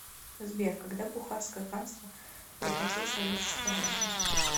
сбер когда бухарское ханство прекратил свое существование